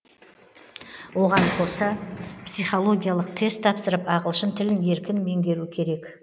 оған қоса психологиялық тест тапсырып ағылшын тілін еркін меңгеру керек